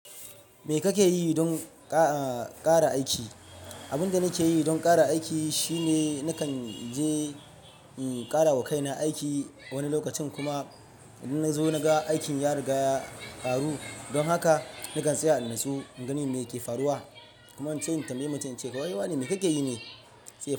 Me kake yi don ƙa-kara aiki? Abin da nake yi don ƙara aiki shine nakan je, um, ƙara wa kaina aiki wani lokacin kuma idan na zo na ga aikin ya riga ya ƙaru. Don haka nakan tsaya in natsu in gani me yake faruwa kuma in ce in tambaye mutum, in ce, "Kai wa ne? Me kake yi ne?"